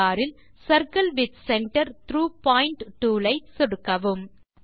toolbar ல் circle with center through point tool ஐ சொடுக்கவும்